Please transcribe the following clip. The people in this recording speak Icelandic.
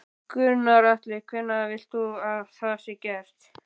Gunnar Atli: Hvenær vilt þú að það sé gert?